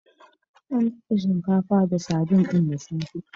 An dafa shinkafa da sardin ɗin da safe.